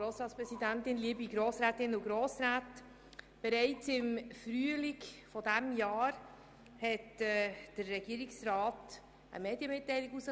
Bereits im Frühling erliess der Regierungsrat eine Medienmitteilung.